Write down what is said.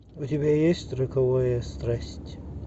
у тебя есть роковая страсть